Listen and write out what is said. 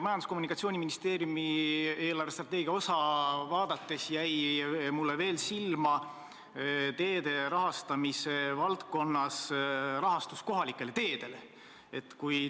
Majandus- ja Kommunikatsiooniministeeriumi osa eelarvestrateegias vaadates jäi mulle silma teede rahastamise valdkonnas kohalike teede rahastamine.